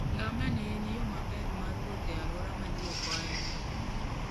Ngamia ne en yo maber mar wuoth e alwora ma ji ok ohero.